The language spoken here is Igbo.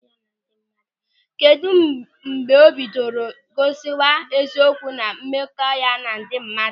Kedụ mgbe o bidoro gosiwa eziokwu na mmekọ ya na ndị mmadụ?